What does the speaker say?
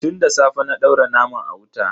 Tun da safe na daura naman a wuta.